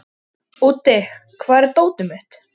Úddi, hvar er dótið mitt?